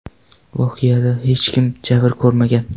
Voqeada hech kim jabr ko‘rmagan.